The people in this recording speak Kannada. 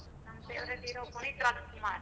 ನನ್ favourite hero ಪುನೀತ್ ರಾಜಕುಮಾರ್.